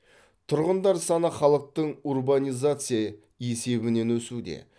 тұрғындар саны халықтың урбанизация есебінен өсуде